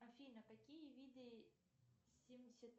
афина какие виды семьдесят